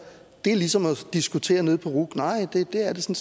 det er ligesom at diskutere nede på ruc nej det er det